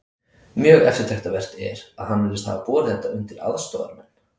Mjög eftirtektarvert er, að hann virðist hafa borið þetta undir aðstoðarmenn